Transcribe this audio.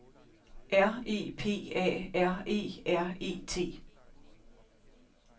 R E P A R E R E T